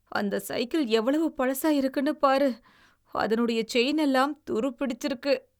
அந்த சைக்கிள் எவ்வளவு பழசாயிருக்குனு பாரு. அதனுடைய செயின் எல்லாம் துருப்பிடிச்சிருக்கு.